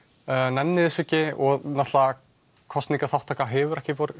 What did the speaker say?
nenni þessu ekki og kosningaþátttaka hefur ekki